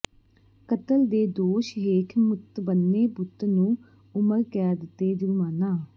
ਕਤਲ ਦੇ ਦੋਸ਼ ਹੇਠ ਮੁਤਬੰਨੇ ਪੁੱਤ ਨੂੰ ਉਮਰ ਕੈਦ ਤੇ ਜੁਰਮਾਨਾ